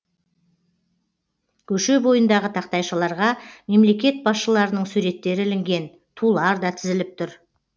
көше бойындағы тақтайшаларға мемлекет басшыларының суреттері ілінген тулар да тізіліп тұр